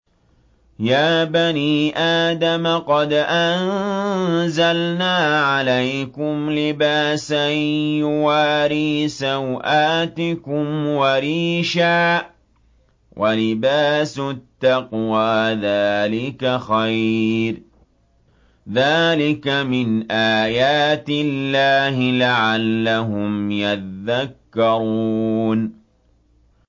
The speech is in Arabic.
يَا بَنِي آدَمَ قَدْ أَنزَلْنَا عَلَيْكُمْ لِبَاسًا يُوَارِي سَوْآتِكُمْ وَرِيشًا ۖ وَلِبَاسُ التَّقْوَىٰ ذَٰلِكَ خَيْرٌ ۚ ذَٰلِكَ مِنْ آيَاتِ اللَّهِ لَعَلَّهُمْ يَذَّكَّرُونَ